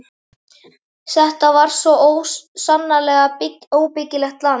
Þetta er svo sannarlega óbyggilegt land.